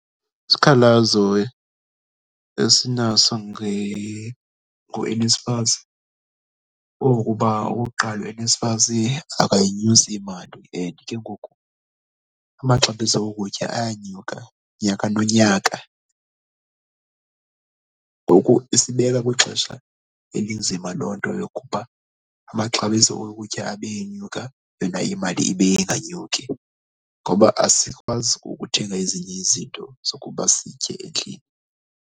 Isikhalazo esinazo ngoNSFAS okuba okokuqala uNSFAS akayinyusi imali and ke ngoku amaxabiso okutya ayanyuka nyaka nonyaka. Ngoku isibeka kwixesha elinzima loo nto yokuba amaxabiso okutya abe enyuka yona imali ibe inganyuki ngoba asikwazi ukuthenga ezinye izinto zokuba sitye endlini.